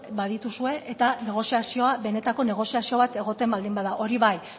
badituzue eta negoziazioa benetako negoziazioa egoten baldin bada hori bai